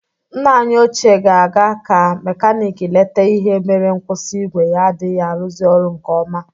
Nna anyị ochie ga-aga ka mekanik lete ihe mere nkwusi igwe ya adịghị arụzị ọrụ nke ọma